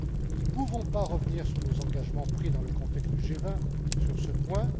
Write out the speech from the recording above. Nous ne pouvons pas revenir sur nos engagements pris dans le contexte du G20 sur ce point.